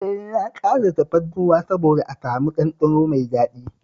E, na ƙara tafarnuwa saboda a samu ɗanɗano mai daɗi